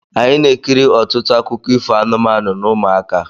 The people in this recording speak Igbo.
Anyị na-ekiri ọtụtụ akụkọ ifo anụmanụ n' ụmụaka.